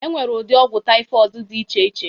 Enwere ụdị ọgwụ typhoid dị iche iche